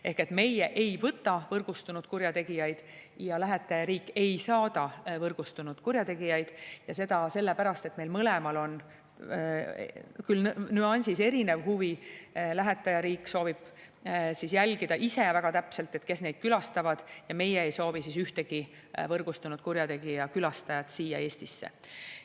Ehk meie ei võta võrgustunud kurjategijaid ja lähetajariik ei saada võrgustunud kurjategijaid, ja seda sellepärast, et meil mõlemal on, küll nüansis erinev, huvi – lähetajariik soovib jälgida ise väga täpselt, kes neid külastavad, ja meie ei soovi ühtegi võrgustunud kurjategija külastajat siia Eestisse.